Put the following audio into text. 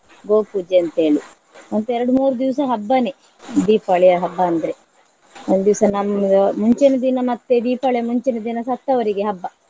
ಗೋ ಪೂಜೆ ಅಂತೇಳಿ ಮತ್ತೆ ಎರಡು ಮೂರು ದಿವ್ಸ ಹಬ್ಬನೇ ದೀಪಾವಳಿ ಹಬ್ಬ ಅಂದ್ರೆ. ಒಂದು ದಿವಸ ನಮ್ಗೆ ಮುಂಚಿನ ದಿನ ಮತ್ತೆ ದೀಪಾವಳಿ ಮುಂಚಿನ ದಿನ ಸತ್ತವರಿಗೆ ಹಬ್ಬ.